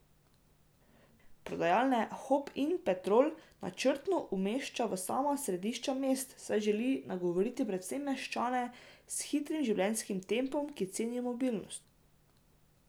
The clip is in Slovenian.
Prodajalne Hopin Petrol načrtno umešča v sama središča mest, saj želi nagovoriti predvsem meščane s hitrim življenjskim tempom, ki cenijo mobilnost.